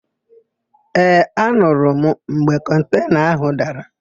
Ee, anurụ m mgbe kọntena ahụ dara.